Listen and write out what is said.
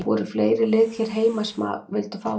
Voru fleiri lið hér heima sem að vildu fá þig?